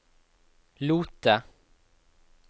Lote